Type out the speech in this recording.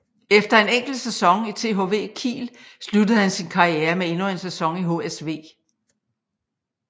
Efter en enkelt sæson i THW Kiel sluttede han sin karriere med endnu en sæson i HSV